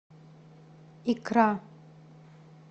икра